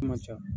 man ca